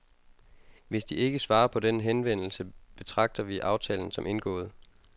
Hvis de ikke svarer på denne henvendelse betragter vi aftalen som indgået.